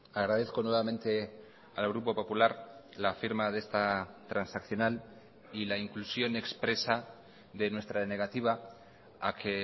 agradezco nuevamente al grupo popular la firma de esta transaccional y la inclusión expresa de nuestra negativa a que